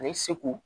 Ani segu